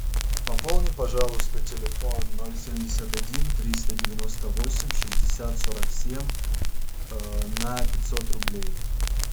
пополни пожалуйста телефон ноль семьдесят один триста девяносто восемь шестьдесят сорок семь на пятьсот рублей